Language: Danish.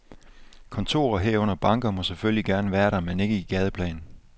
Kontorer, herunder banker, må selvfølgelig gerne være der, men ikke i gadeplan.